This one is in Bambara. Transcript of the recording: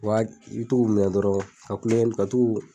Wa i bi to kun minɛ dɔrɔn ka kunlokɛni ka tun k'u